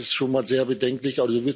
Das ist schon mal sehr bedenklich.